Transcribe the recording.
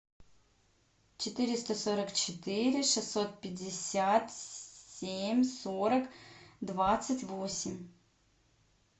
четыреста сорок четыре шестьсот пятьдесят семь сорок двадцать восемь